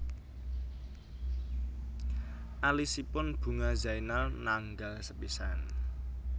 Alisipun Bunga Zainal nanggal sepisan